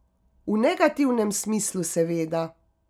V negativnem smislu seveda.